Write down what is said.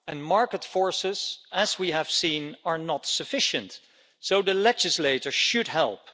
Market forces as we have seen are not sufficient, so the legislator should help.